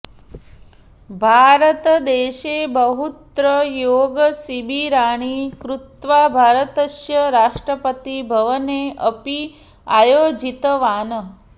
भारतदेशे बहुत्र योगशिबिराणि कृत्वा भारतस्य राष्ट्रपतिभवने अपि आयोजितवान्